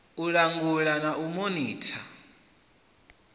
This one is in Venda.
u langulwa na u monitha